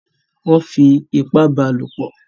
Wọ́n fi ipá bá lopọ̀.